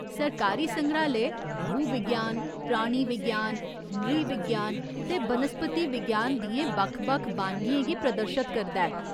सरकारी संग्राह्‌लय भूविज्ञान, प्राणी विज्ञान, नृविज्ञान ते बनस्पति विज्ञान दियें बक्ख बक्ख बानगियें गी प्रदर्शत करदा ऐ।